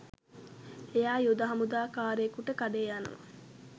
එයා යුද හමුදා කාරයෙකුට කඩේ යනවා